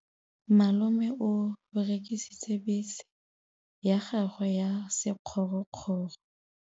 Malome o rekisitse bese ya gagwe ya sekgorokgoro.